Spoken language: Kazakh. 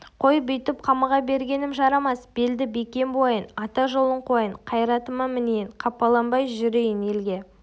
қой бүйтіп қамыға бергенім жарамас белді бекем буайын ата жолын қуайын қайратыма мінейін қапаланбай жүрейін елге